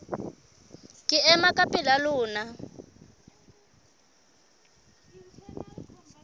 ke ema ka pela lona